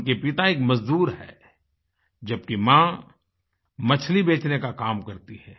उनके पिता एक मजदूर हैं जबकि माँ मछली बेचने का काम करती है